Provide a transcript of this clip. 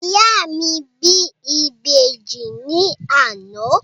Ìyá mi bí Ìbejì ní àná.